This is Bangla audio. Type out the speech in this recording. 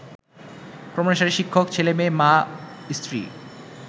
ক্রমানুসারে শিক্ষক, ছেলেমেয়ে, মা, স্ত্রী